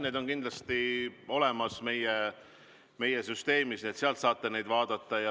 Need on kindlasti olemas meie süsteemis, sealt saate neid vaadata.